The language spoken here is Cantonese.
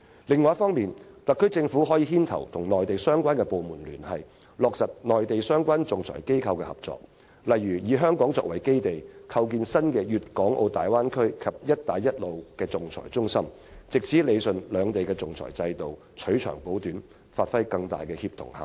第二，特區政府可牽頭與內地相關部門聯繫，落實與內地相關仲裁機構的合作，例如以香港作為基地，構建新的大灣區和"一帶一路"仲裁中心，藉以理順兩地的仲裁制度，取長補短，發揮更大的協同效應。